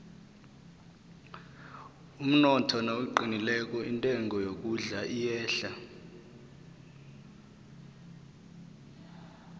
umnotho nawuqinileko intengo yokudla iyehla